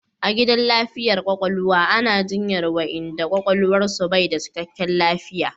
A gidan lafiyar kwakwalwa ana jinyan wayanda kwakwalwan su bai da cikkaken lafiya